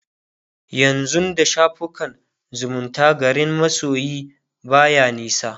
yanzun da shafukan zumunta garin masoyi baya nisa